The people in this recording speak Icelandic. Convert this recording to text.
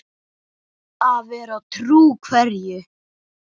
Að vera trú hverju?